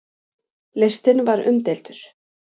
Listinn var umdeildur.